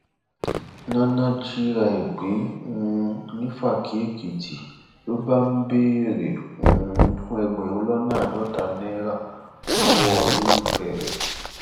nana jìra ẹ gbé um nífàkìèkìtì ló bá ń bẹrẹ um fún ẹgbẹrún lọnà àádọta náírà lọwọ olólùfẹ rẹ